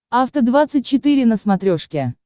афта двадцать четыре на смотрешке